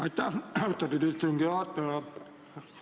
Aitäh, austatud istungi juhataja!